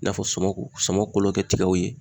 I n'a fɔ sɔmɔku sɔmɔ kolo kɛ tigɛw ye